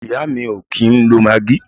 Ìyá mi o kìí ń lo maggi.